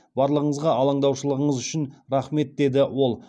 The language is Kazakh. барлығыңызға алаңдаушылығыңыз үшін рахмет деді ол